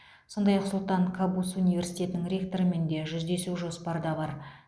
сондай ақ сұлтан кабус университетінің ректорымен де жүздесу жоспарда бар